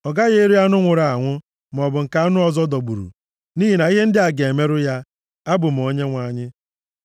Ọ gaghị eri anụ nwụrụ anwụ, maọbụ nke anụ ọzọ dọgburu, + 22:8 \+xt Ọpụ 22:31\+xt* nʼihi na ihe ndị a ga-emerụ ya. Abụ m Onyenwe anyị.